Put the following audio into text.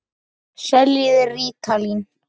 Seljið þið rítalín?